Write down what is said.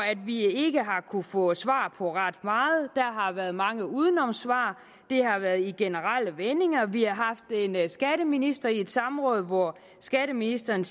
vi ikke har kunnet få svar på ret meget der har været mange udenomssvar de har været i generelle vendinger vi har haft en skatteminister i et samråd hvor skatteministeren